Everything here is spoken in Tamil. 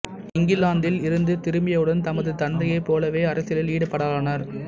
இங்கிலாந்தில் இருந்து திரும்பியவுடன் தமது தந்தையைப் போலவே அரசியலில் ஈடுபடலானார்